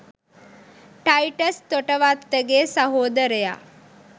'ටයිටස් තොටවත්තගේ' සහෝදරයා